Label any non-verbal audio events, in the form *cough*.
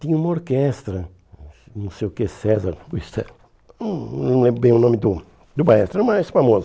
Tinha uma orquestra, não sei o que, César... *unintelligible* Não não lembro bem o nome do do maestro, mas é famoso.